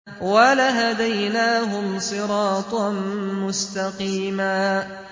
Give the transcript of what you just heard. وَلَهَدَيْنَاهُمْ صِرَاطًا مُّسْتَقِيمًا